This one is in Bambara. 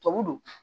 Tɔbu don